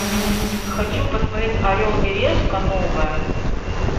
хочу посмотреть орел и решка новое